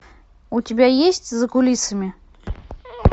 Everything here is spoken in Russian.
у тебя есть за кулисами